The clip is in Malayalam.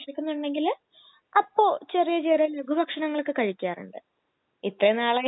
എനിക്ക് എന്നും ദോശ പറ്റൂല എനിക്ക് വേണ്ടി ഉപ്പുമാവോ ചപ്പാത്തിയോ ഒക്കെ